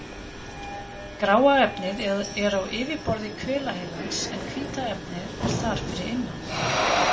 Gráa efnið er á yfirborði hvelaheilans en hvíta efnið er þar fyrir innan.